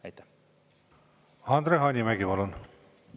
Andre Hanimägi, palun!